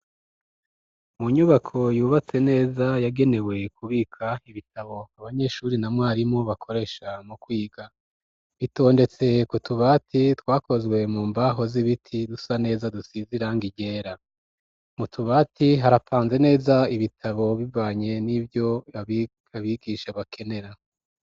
Mu nyubako yubatse neza yagenewe kubika ibitabo abanyeshuri na mwarimu bakoresha mu kwiga bitondetse k'utubati twakozwe mu mbaho z'ibiti dusa neza dusize irangi ryera m'utubati harapanze neza ibitabo bibanye n'ivyo abikabigisha bakenera.